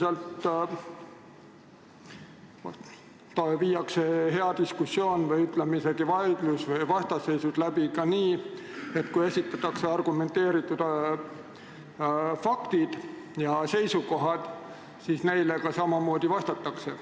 Üldiselt viiakse hea diskussioon või isegi vaidlus ja vastasseisud läbi nii, et kui esitatakse argumenteeritud faktid ja seisukohad, siis neile ka samamoodi vastatakse.